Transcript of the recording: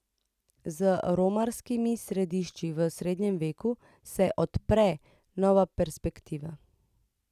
Z romarskimi središči v srednjem veku se odpre nova perspektiva.